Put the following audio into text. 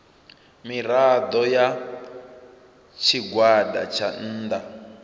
mirado ya tshigwada tsha nnda